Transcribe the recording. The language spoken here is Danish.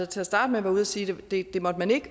til at starte med her ude at sige at det måtte man ikke